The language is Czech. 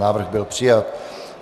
Návrh byl přijat.